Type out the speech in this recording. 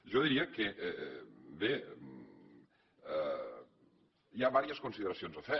jo li diria que bé hi ha diverses consideracions a fer